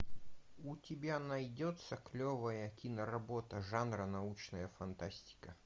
у тебя найдется клевая киноработа жанра научная фантастика